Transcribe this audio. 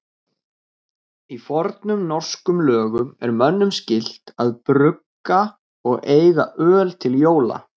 Í fornum norskum lögum er mönnum skylt að brugga og eiga öl til jóla.